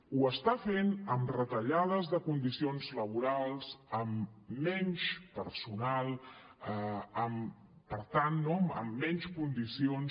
ho està fent amb retallades de condicions laborals amb menys personal per tant no amb menys condicions